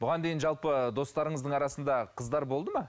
бұған дейін жалпы достарыңыздың арасында қыздар болды ма